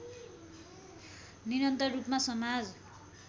निरन्तर रूपमा समाज